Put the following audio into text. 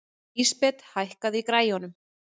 Lísabet, hækkaðu í græjunum.